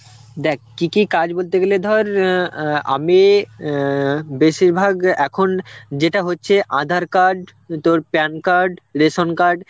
দেখ, কি কি কাজ বলতে গেলে ধর ইয়ে অ্যাঁ আমি অ্যাঁ বেশিরভাগ যে এখন যেটা হচ্ছে aadhar card, উ তোর PAN card, ration card